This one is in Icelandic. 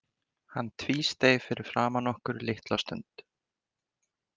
Hann tvísteig fyrir framan okkur litla stund.